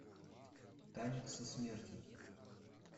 танец со смертью